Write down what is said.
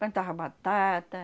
Plantava batata.